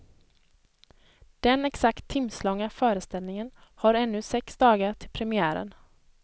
Den exakt timslånga föreställningen har ännu sex dagar till premiären.